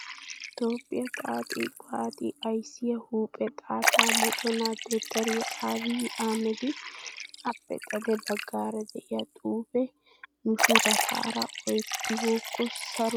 Toophphiya xaaxi waaxi ayssiyaa huuphe xaatta moconaa dottoriyaa aabiyi ahimeda. Appe xade baggaara diyaa xuupee nushorotaara ooyettibookko saro deettes ges.